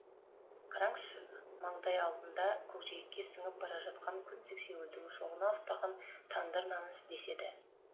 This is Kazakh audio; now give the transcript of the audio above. қараңызшы маңдай алдында көкжиекке сіңіп бара жатқан күн сексеуілдің шоғына ұстаған тандыр наны деседі